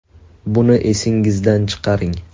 Buni esingizdan chiqaring.